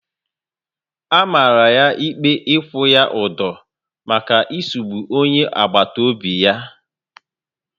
A mara ya ikpe ikwu ya udo maka isugbu onye agbata obi ya